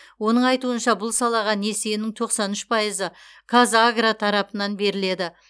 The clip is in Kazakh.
оның айтуынша бұл салаға несиенің тоқсан үш пайызы қазагро тарапынан беріледі